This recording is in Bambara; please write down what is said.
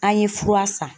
An ye fura san